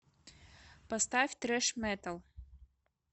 поставь трэш метал